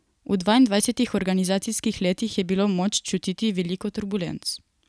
V dvaindvajsetih organizacijskih letih je bilo moč čutiti veliko turbulenc.